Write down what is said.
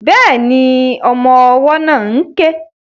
Bẹ́ẹ̀ni, ọmọ ọwọ́ náà ń ké